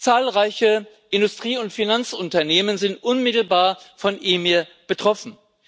Zahlreiche Industrie und Finanzunternehmen sind unmittelbar von EMIR betroffen.